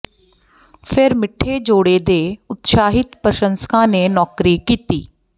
ਫਿਰ ਮਿੱਠੇ ਜੋੜੇ ਦੇ ਉਤਸ਼ਾਹਿਤ ਪ੍ਰਸ਼ੰਸਕਾਂ ਨੇ ਨੌਕਰੀ ਕੀਤੀ